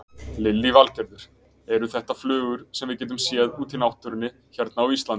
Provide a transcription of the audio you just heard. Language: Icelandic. Lillý Valgerður: Eru þetta flugur sem við getum séð út í náttúrunni hérna á Íslandi?